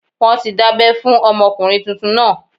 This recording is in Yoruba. Wọ́n ti dábẹ́ fún ọmọkùnrin tuntun náà